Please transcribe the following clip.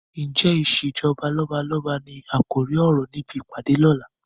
Ǹjẹ́ ìsèjọba lọ́balọ́ba ni àkòrí ọ̀rọ̀ níbi ìpàdé ọ̀la?